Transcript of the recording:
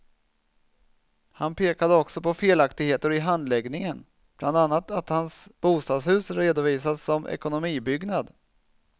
Han pekade också på felaktigheter i handläggningen, bland annat att hans bostadshus redovisats som ekonomibyggnad.